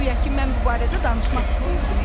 Guya ki, mən bu barədə danışmaq istəyirdim?